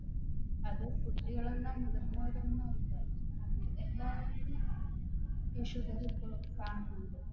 അത് കുട്ടികളെന്നോ മുതിർന്നവരെന്നോ ഇല്ല എല്ലാവർക്കും ഈ Sugar